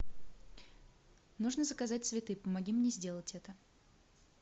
нужно заказать цветы помоги мне сделать это